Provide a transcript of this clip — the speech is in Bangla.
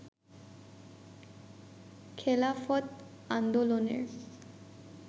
খেলাফত আন্দোলনের